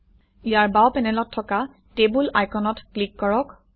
ইয়াৰ বাও পেনেলত থকা টেবুল আইকনত ক্লিক কৰক